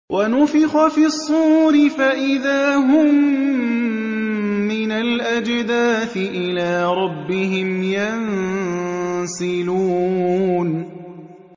وَنُفِخَ فِي الصُّورِ فَإِذَا هُم مِّنَ الْأَجْدَاثِ إِلَىٰ رَبِّهِمْ يَنسِلُونَ